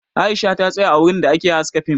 Aisha ta tsaya a wurin da ake haska fim